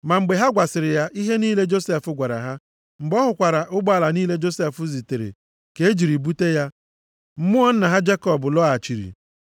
Ma mgbe ha gwasịrị ya ihe niile Josef gwara ha, mgbe ọ hụkwara ụgbọala niile Josef zitere ka e jiri bute ya, mmụọ nna ha Jekọb lọghachiri.